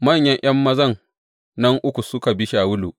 Manyan ’yan mazan nan uku suka bi Shawulu.